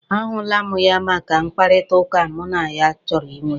A hụla mụ ya maka mkpakọrịtaụka mụ na ya chọrọ ị nwe.